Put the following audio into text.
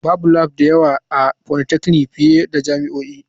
Babu labs da yawa a polytechnic fiye da jami'o'i.